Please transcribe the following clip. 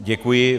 Děkuji.